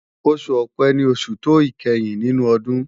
Oṣù Ọ̀pẹ́ ni oṣù tó ìkẹyìn nínú ọdún